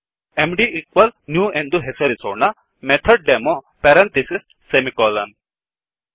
MD new ಎಂದು ಹೆಸರಿಡೋಣ MethodDemoಮೆಥಡ್ ಡೆಮೊ ಪೆರಂಥಿಸಿಸ್ ಸೆಮಿಕೋಲನ್